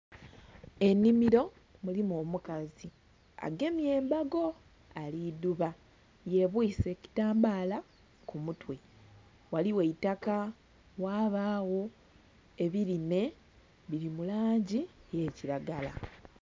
Enhimiro mulimu omukazi agemye embago alidhuba yebwise ekitambala kumutwe ghaligho eitaka ghabagho ebirime biri mulangi eyakiragala.